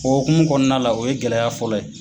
O hokumu kɔnɔna na la o ye gɛlɛya fɔlɔ ye.